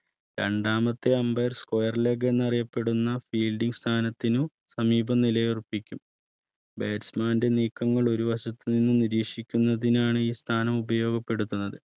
രണ്ടാമത്തെ Ambire square Leg എന്നറിയപ്പെടുന്ന Fielding സ്ഥാനത്തിന് സമീപം നിലയുറപ്പിക്കും Batsman ന്റെ നീക്കങ്ങൾ ഒരു വശത്തുനിന്നും നിരീക്ഷിക്കുന്നതിനാണ് ഈ സ്ഥാനം ഉപയോഗപ്പെടുത്തുന്നത്